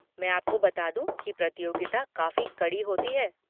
मैं आपको बता दूँ कि प्रतियोगिता काफ़ी कड़ी होती है।